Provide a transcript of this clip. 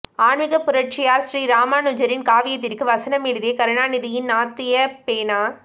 ஆன்மீக புரட்சியார் ஸ்ரீ ராமானுஜரின் காவியத்திற்கு வசனம் எழுதிய கருணாநிதியின் நாத்திக பேனா